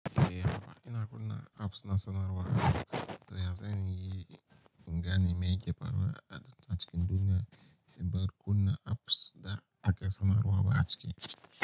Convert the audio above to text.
Eh, hakkin ina apps na sanarwa, to ya zanyi in gane me yake faruwa a cikin duniya, in bar kuna apps da aka sanarwa ba a cike.